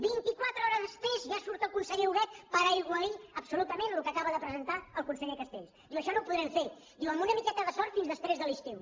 vint i quatre hores després ja surt el conseller huguet per aigualir absolutament el que acaba de presentar el conseller castells i diu això no ho podrem fer amb una miqueta de sort fins després de l’estiu